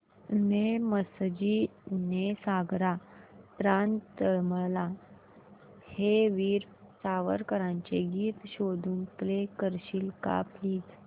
ने मजसी ने सागरा प्राण तळमळला हे वीर सावरकरांचे गीत शोधून प्ले करशील का प्लीज